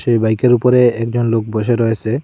এ বাইকের উপরে একজন লোক বসে রয়েছে।